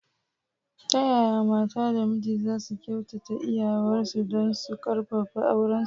Ta yaya mata da miji za su kyautata iyawarsu don su ƙarfafa aurensu?